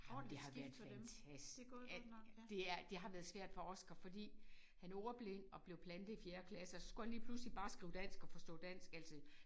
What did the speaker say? Ej men det har været fantastisk det er det har været svært for Oscar fordi han er ordblind og blevet plantet i fjerde klasse og så skulle han lige pludselig bare skrive dansk og forstå dansk altså